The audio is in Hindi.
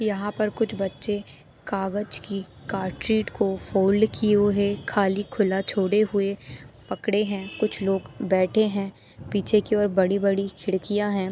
यहाँ पर कुछ बच्चे कागज की कार्ड शीट को फोल्ड किए हुए खाली खुला छोड़े हुए पकड़े है कुछ लोग बैठे है पीछे की ओर बड़ी-बड़ी खिड़कियां है।